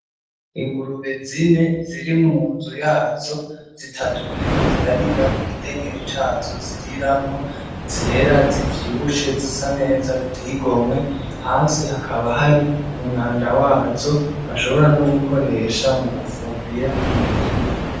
Ingurube zine ziri munzu yazo zitatu ziriko zirarira mukidengeri cazo zirimwo zera zivyibushe zisa neza ziteye igomwe hasi hakaba hari umwanda wazo bashobora no gukoresha mugufumbira umurima